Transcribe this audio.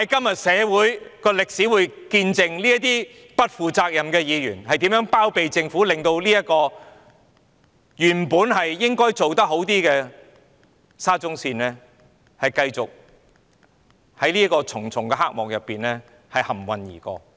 然而，社會和歷史將要見證這些不負責任的議員如何包庇政府，如何令這個原本應可做得更好的沙中線工程，繼續在重重黑幕中蒙混而過。